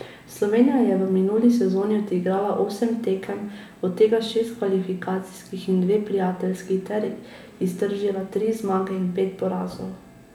Slovenija je v minuli sezoni odigrala osem tekem, od tega šest kvalifikacijskih in dve prijateljski ter iztržila tri zmage in pet porazov.